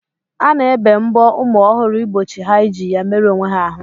A na-ebe mbọ ụmụ ọhụrụ igbochi ha iji ya meru onwe ha ahụ.